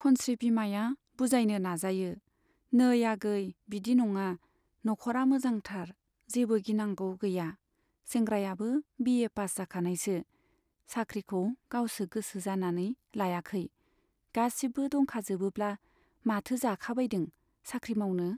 खनस्री बिमाया बुजायनो नाजायो, नै आगै बिदि नङा, नखरा मोजांथार जेबो गिनांगौ गैया, सेंग्रायाबो बिए पास जाखानायसो। साख्रिखौ गावसो गोसो जानानै लायाखै, गासिबो दंखाजोबोब्ला माथो जाखाबायदों साख्रि मावनो?